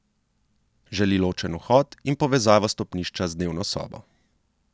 Želi ločen vhod in povezavo stopnišča z dnevno sobo.